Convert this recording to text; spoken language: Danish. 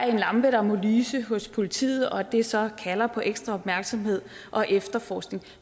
en lampe der må lyse hos politiet og at det så kalder på ekstra opmærksomhed og efterforskning